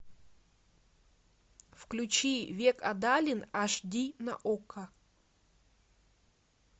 включи век адалин аш ди на окко